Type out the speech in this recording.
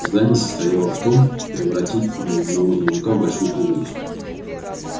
задание состояло в том превратить навозного жука в большую пуговицу